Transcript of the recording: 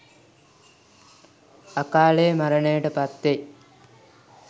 අකාලයේ මරණයට පත්වෙයි